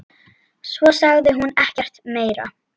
Svo sagði hún ekkert meira.